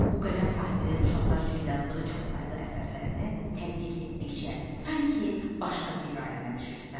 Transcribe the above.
Bu qələm sahibinin uşaqlar üçün yazdığı çoxsaylı əsərlərini tədqiq etdikcə, sanki başqa bir aləmə düşürsən.